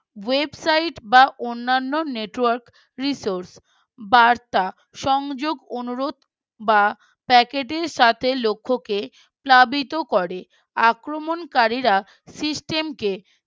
Website বা অন্যান্য Newtwork Resource বার্তা সংযোগ অনুরোধ বা Packet র সাথে লক্ষ্যকে প্লাবিত করে। আক্রমণকারীরা System কে